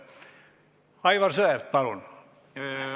Aivar Sõerd, palun!